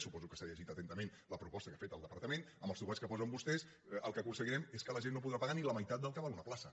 suposo que s’ha llegit atentament la proposta que ha fet el departament amb els topalls que posen vostès el que aconseguirem és que la gent no podrà pagar ni la meitat del que val una plaça